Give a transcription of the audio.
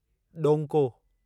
ॾौंको